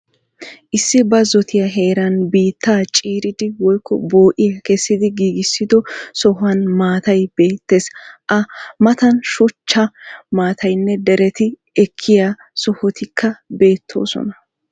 Issi bazzotiya heeran biittaa ciiridi woykko bo"iya kessidi giiggissiddo sohuwan maattaay beettees. A mattan shuchchaa, mitaynne dereti ekiya sohotikka beettoosona.